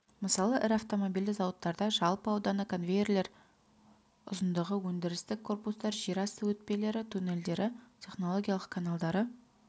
мысалы ірі автомобильді зауыттарда жалпы ауданы конвейерлер ұзындығы өндірістік корпустар жер асты өтпелері туннельдері технологиялық каналдары